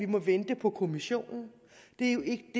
må vente på kommissionen det er jo ikke